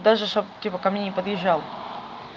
даже чтоб типа ко мне не подъезжал